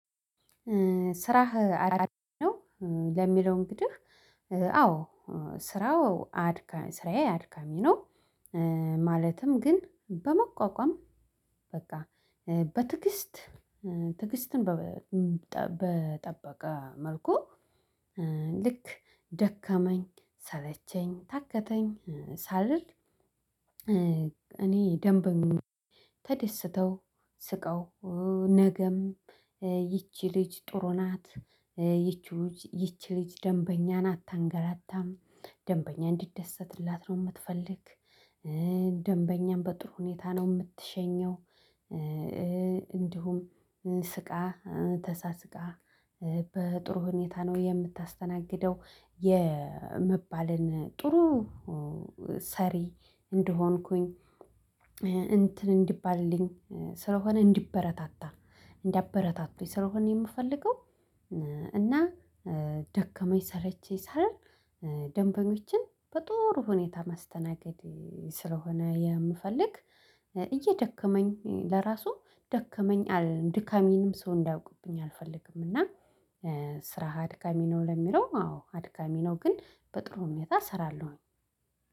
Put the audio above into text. ስራህ አድካሚ ነው? ለሚለው እንግዲህ አዎ ስራው አድካሚ ስራዬ አድካሚ ነው። ማለትም ግን በመቋቋም በቃ በትግስት ትዕግስትን በጠበቀ መልኩ ልክ ደከመኝ ሰለቸኝ ታከተኝ ሳልል። እኔ ደንበኛየ ተደስተው ስቀው ነገም ይቺ ልጅ ጥሩ ናት። ይቺ ልጅ ይቺ ልጅ ደንበኛን አታንገላታም ደንበኛ እንዲደሰትላት ነው የምትፈልግ። ደንበኛም በጥሩ ሁኔታ ነው የምትሸኘው። እንዲሁም ስቃ ተሳስቃ በጥሩ ሁኔታ ነው የምታስተናግደው የመባልን ጥሩ ሰሪ እንደሆንኩኝ። እንትን እንዲባልልኝ ስለሆነ እንዲበረታታ እንዲያበረታቱኝ ስለሆነ የምፈልገው። እና ደከመኝ ሰለችኝ ሳልል ደንበኞችን በጥሩ ሁኔታ ማስተናገድ ስለሆነ የምፈልግ እየደከመኝ ለራሱ ደከመኝ አልልም ድካሜንም ሰው እንዲያውቅብኝ አልፈልግም እና። ስራህ አድካሚ ነው ለሚለው አዎ አድካሚ ነው ግን በጥሩ ሁኔታ እሰራለሁ።